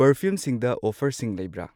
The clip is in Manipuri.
ꯄꯔꯐ꯭ꯌꯨꯝꯁꯤꯡꯗ ꯑꯣꯐꯔꯁꯤꯡ ꯂꯩꯕ꯭ꯔꯥ?